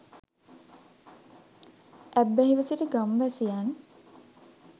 ඇබ්බැහිව සිටි ගම්වැසියන්